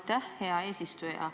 Aitäh, hea eesistuja!